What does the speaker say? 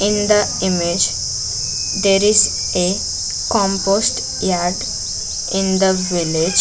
In the image there is a compost yard in the village.